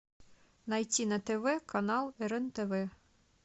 найти на тв канал рен тв